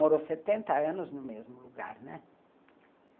Morou setenta anos no mesmo lugar, né?